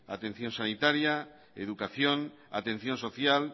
atención sanitaria educación atención social